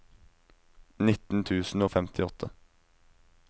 nitten tusen og femtiåtte